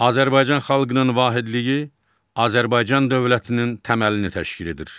Azərbaycan xalqının vahidliyi Azərbaycan dövlətinin təməlini təşkil edir.